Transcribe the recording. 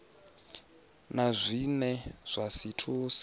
na zwine zwa si thuse